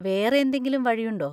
വേറെ എന്തെങ്കിലും വഴിയുണ്ടോ?